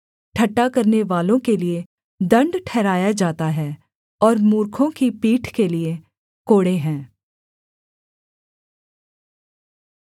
ठट्ठा करनेवालों के लिये दण्ड ठहराया जाता है और मूर्खों की पीठ के लिये कोड़े हैं